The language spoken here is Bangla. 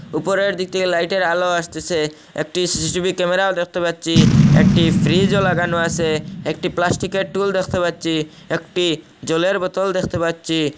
উপরের দিকে লাইটের আলো আসতেসে একটি সি_সি_টি_ভি ক্যামেরাও দেখতে পাচ্ছি একটি ফ্রিজও লাগানো আসে একটি প্লাস্টিকের টুল দেখতে পাচ্ছি একটি জলের বোতল দেখতে পাচ্ছি।